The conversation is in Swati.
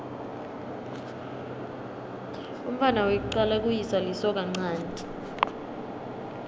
umntfwana wekucala kuyise lisokanchanti